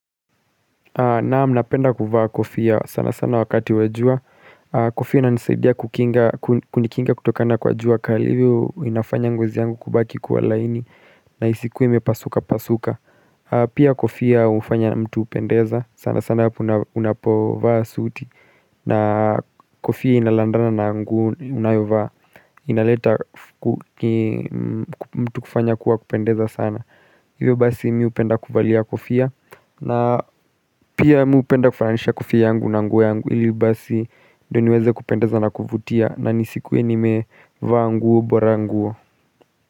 Naam napenda kuvaa kofia sana sana wakati wa jua Kofia inanisaidia kunikinga kutokana kwa jua kali hivyo inafanya ngozi yangu kubaki kwa laini na isikuwe imepasuka pasuka Pia kofia hufanya mtu upendeza sana sana unapovaa suuti na kofia inalandana na nguo unayovaa inaleta mtu kufanya kuwa kupendeza sana Hivyo basi mimi hupenda kuvalia kofia na pia mimi hupenda kufananisha kofia yangu na nguo yangu ili basi Ndio niweze kupendeza na kuvutia na nisikuwe nimevaa nguo bora nguo.